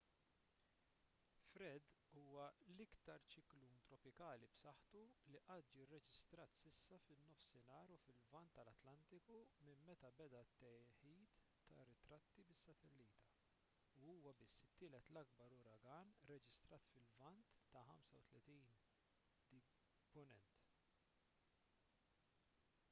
fred huwa l-iktar ċiklun tropikali b’saħħtu li qatt ġie rreġistrat s’issa fin-nofsinhar u fil-lvant tal-atlantiku minn meta beda t-teħid ta’ ritratti bis-satellita u huwa biss it-tielet l-akbar uragan rreġistrat fil-lvant ta’ 35°w